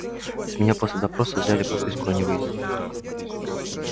с меня после допроса взяли подписку о невыезде